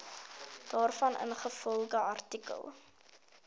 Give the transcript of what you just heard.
daarvan ingevolge artikel